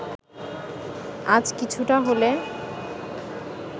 আজ কিছুটা হলে